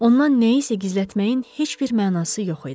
Ondan nəyisə gizlətməyin heç bir mənası yox idi.